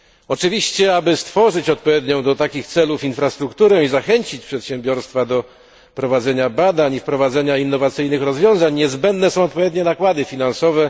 Oczywiście, aby stworzyć odpowiednią do tego celu infrastrukturę i zachęcić przedsiębiorstwa do prowadzenia badań i wprowadzenia innowacyjnych rozwiązań, niezbędne są odpowiednie nakłady finansowe.